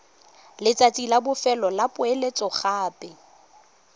letsatsi la bofelo la poeletsogape